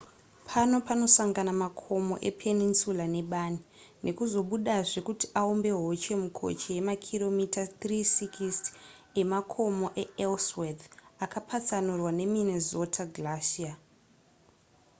pano panosangana makomo epeninsula nebani nekuzobudazve kuti aumbe hoche mukoche yemakiromita 360 emakomo eellsworth akapatsanurwa neminnesota glacier